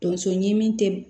Tonso ɲimi te